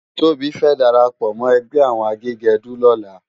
Tobi fè dàrápò mò ègbè áwòn àgégèdú lòlá